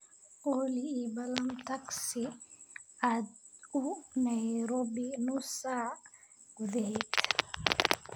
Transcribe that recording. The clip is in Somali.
olly ii ballan tagsi aad u nairobi nus saac gudaheed